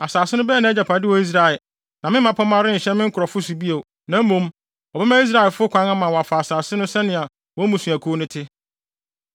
Asase no bɛyɛ nʼagyapade wɔ Israel. Na me mmapɔmma renhyɛ me nkurɔfo so bio, na mmom wɔbɛma Israelfo kwan ama wɔafa asase no sɛnea wɔn mmusuakuw no te.